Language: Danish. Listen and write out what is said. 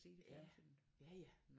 Ja ja ja